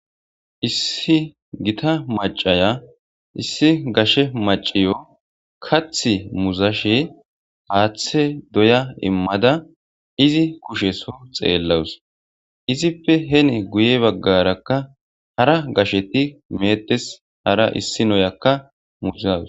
Issi gita maachiya issi gaashe maachewu kaati muuzashe haathe doya emada izi kuushe soyo xelawusi izippe heni guye bagara hara gaasheti meetes haara issi nayaka muuzawus.